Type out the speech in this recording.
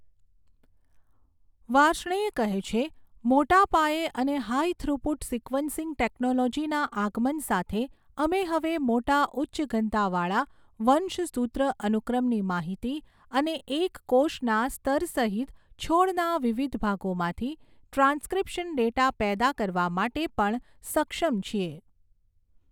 વાર્ષ્ણેય કહે છે, મોટા પાયે અને હાઈ થ્રુપુટ સિક્વન્સિંગ ટેક્નૉલોજિના આગમન સાથે, અમે હવે મોટા ઉચ્ચ ઘનતા વાળા વંશસૂત્ર અનુક્રમની માહિતી અને એક કોષના સ્તર સહિત છોડના વિવિધ ભાગોમાંથી ટ્રાન્સક્રિપ્શન ડેટા પેદા કરવા માટે પણ સક્ષમ છીએ.